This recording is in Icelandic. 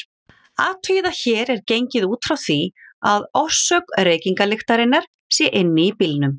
Athugið að hér er gengið út frá því að orsök reykingalyktarinnar sé inni í bílnum.